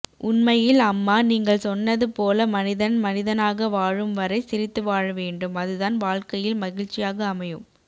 உண்மையில் அம்மா நீங்கள் சொன்னது போல மனிதன் மனிதனாகவாழும் வரை சிரித்து வாழவேண்டும் அதுதான் வாழ்க்கையில் மகிழ்ச்சியாக அமையும்